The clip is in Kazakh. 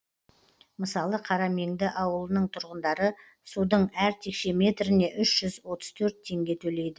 мысалы қарамеңді ауылының тұрғындары судың әр текше метріне үш жүз отыз төрт теңге төлейді